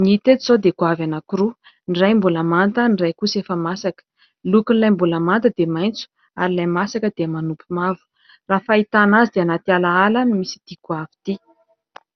ny hita eto izao dia goavy anankiroa : ny iray mbola manta, ny iray kosa efa masaka ; ny lokon'ilay mbola manta dia maitso ary ilay masaka dia manompy mavo, raha ny fahitana azy dia anaty alaala no misy ity goavy ity.